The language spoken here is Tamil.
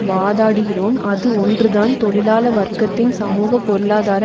வாதாடுகிறோம் அது ஒன்றுதான் தொழிலாள வர்க்கத்தின் சமூக பொருளாதார